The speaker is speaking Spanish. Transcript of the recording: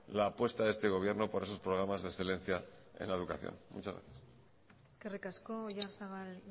la apuesta de este gobierno por esos programas de excelencia en educación muchas gracias eskerrik asko oyarzabal